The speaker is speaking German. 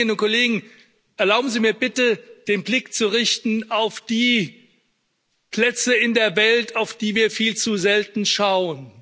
Aber, Kolleginnen und Kollegen, erlauben Sie mir bitte, den Blick auf die Plätze in der Welt zu richten, auf die wir viel zu selten schauen.